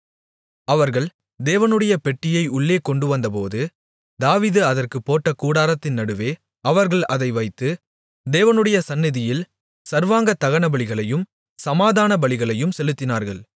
அவர்கள் தேவனுடைய பெட்டியை உள்ளே கொண்டுவந்தபோது தாவீது அதற்குப் போட்ட கூடாரத்தின் நடுவே அவர்கள் அதை வைத்து தேவனுடைய சந்நிதியில் சர்வாங்க தகனபலிகளையும் சமாதானபலிகளையும் செலுத்தினார்கள்